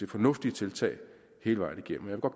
fornuftige tiltag hele vejen igennem og